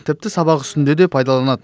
тіпті сабақ үстінде де пайдаланады